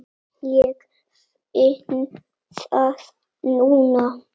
Ég finn það núna.